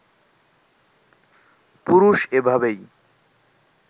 পুরুষ এভাবেই